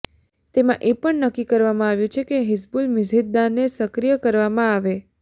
તેમાં એ પણ નક્કી કરવામાં આવ્યું છે કે હિઝબુલ મિઝહિદાનને સક્રિય કરવામાં આવે